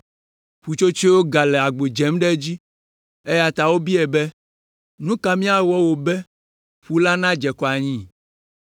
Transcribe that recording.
Ƒutsotsoeawo gale agbo dzem ɖe edzi, eya ta wobiae be, “Nu ka míawɔ wò be ƒu la nadze akɔ anyi?”